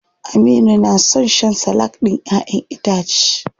Aminu na son shan salak ɗin ƴaʼƴen itace.